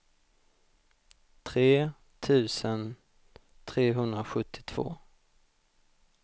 tre tusen trehundrasjuttiotvå